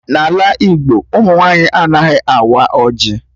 N'ala Igbo, ụmụ nwaanyị anaghị awa ọjị